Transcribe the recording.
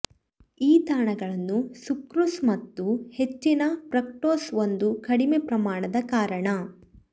ಈ ತಾಣಗಳನ್ನು ಸುಕ್ರೋಸ್ ಮತ್ತು ಹೆಚ್ಚಿನ ಫ್ರಕ್ಟೋಸ್ ಒಂದು ಕಡಿಮೆ ಪ್ರಮಾಣದ ಕಾರಣ